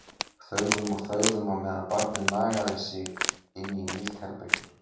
Þögðum og þögðum á meðan barnið nagaði sig inn í nýtt herbergi.